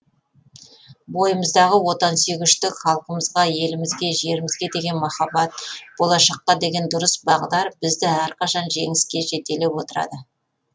бойымыздағы отансүйгіштік халқымызға елімізге жерімізге деген махаббат болашаққа деген дұрыс бағдар бізді әрқашан жеңістерге жетелеп отырады